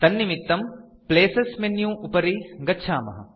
तन्निमित्तं places menu उपरि गच्छामः